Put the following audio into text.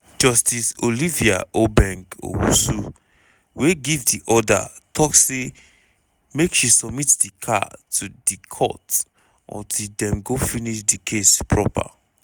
justice olivia obeng owusu wey give di order tok say make she submit di car to di court until dem go finish di case proper.